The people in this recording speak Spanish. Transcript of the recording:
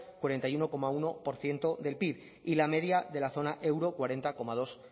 cuarenta y uno coma uno por ciento del pib y la media de la zona euro cuarenta coma dos